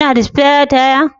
Kina da spire taya